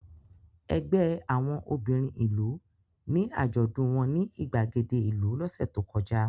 Ẹgbẹ́ àwọn obìnrin ìlú ní àjọ̀dún wọn ní ìgbàgede ìlú lọ́sẹ̀ tó kọjá.